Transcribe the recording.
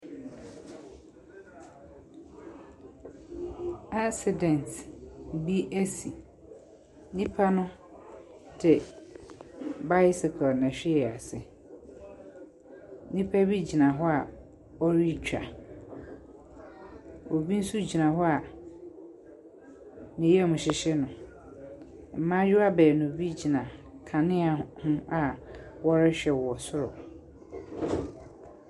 Accident bi asi. Nnipa no de bicycle na ɛhwee ase. Nnipa bi gyina hɔ a wɔretwa. Obi nso gyina hɔ a ne yam hyehye no. Mmayewa baani bi gyina kanea h ho awɔrehwɛ wɔ soro.